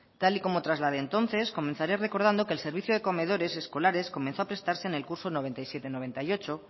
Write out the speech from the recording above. tal y como trasladé entonces comenzaré recordando que el servicio de comedores escolares comenzó a prestarse en el curso noventa y siete noventa y ocho